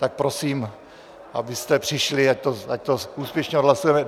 Tak prosím, abyste přišli, ať to úspěšně odhlasujeme.